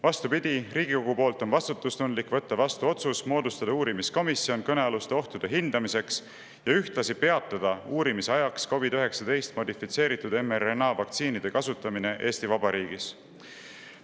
Vastupidi, Riigikogul on vastutustundlik võtta vastu otsus moodustada uurimiskomisjon kõnealuste ohtude hindamiseks ja ühtlasi peatada uurimise ajaks COVID-19 modifitseeritud mRNA vaktsiinide kasutamine Eesti Vabariigis.